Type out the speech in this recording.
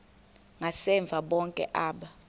ngasemva bonke aba